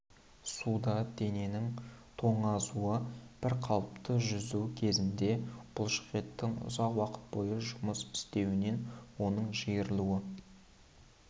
суда дененің тоңазуы бір қалыпты жүзу кезінде бұлшықеттің ұзақ уақыт бойы жұмыс істеуінен оның жиырылуы